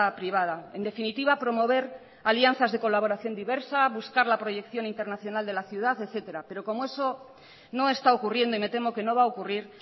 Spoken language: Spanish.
privada en definitiva promover alianzas de colaboración diversa buscar la proyección internacional de la ciudad etcétera pero como eso no está ocurriendo y me temo que no va a ocurrir